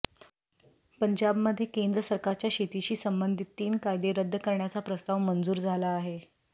पंजाबमध्ये केंद्र सरकारच्या शेतीशी संबंधित तीन कायदे रद्द करण्याचा प्रस्ताव मंजूर झाला आहे